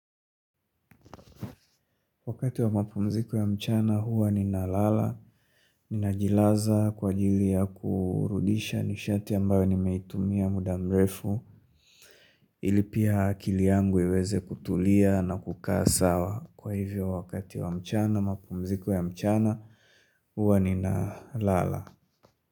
Wakati wa mapumziko ya mchana huwa nina lala, ninajilaza kwa ajili ya kurudisha nishati ambayo nimeitumia muda mrefu ili pia akili yangu iweze kutulia na kukaa sawa kwa hivyo wakati wa mchana mapumziko ya mchana huwa nina lala.